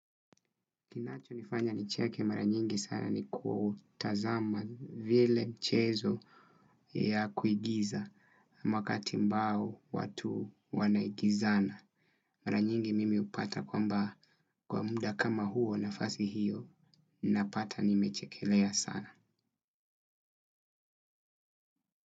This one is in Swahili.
Kinachonifanya nicheke mara nyingi sana ni kutazama vile mchezo ya kuigiza Makati mbao watu wanaigizana. Mara nyingi mimi hupata kwamba kwa muda kama huo nafasi hiyo napata nimechekelea sana.